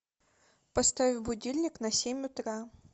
поставь будильник на семь утра